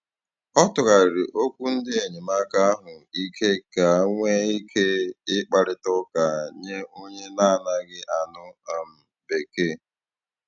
Ọ tụgharịrị okwu ndị enyemaka ahụ ike ka nwee ike ị kparịta ụka nye onye na - anaghị anụ um bekee.